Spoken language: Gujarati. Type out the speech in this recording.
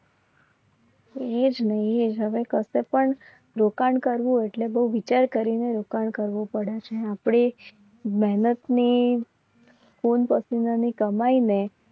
પણ રોકાણ કરવું એટલે બહુ વિચાર કરીને રોકાણ કરવું પડે છે. આપણે મહેનતની ખૂન પસીને ની કમાઈ ને